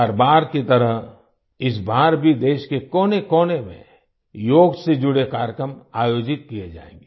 हर बार की तरह इस बार भी देश के कोनेकोने में योग से जुड़े कार्यक्रम आयोजित किये जायेंगे